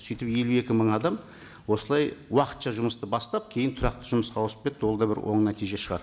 сөйтіп елу екі мың адам осылай уақытша жұмысты бастап кейін тұрақты жұмысқа ауысып кетті ол да бір оң нәтиже шығар